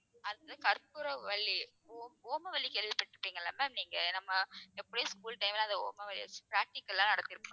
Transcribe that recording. அடுத்தது அது கற்பூரவள்ளி ஓ~ ஓமவல்லி கேள்விப்பட்டிருப்பீங்கல்ல ma'am நீங்க நம்ம எப்படியும் school time ல அந்த ஓமவல்லி வச்சி practical எல்லாம் நடத்திருப்பாங்க